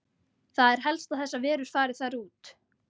Það er helst að þessar verur fari þar út.